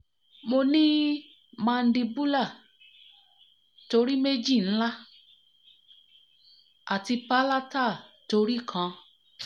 mo ni mandibular tori meji nla ati palatal tori kan